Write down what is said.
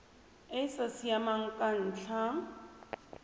e sa siamang ka ntlha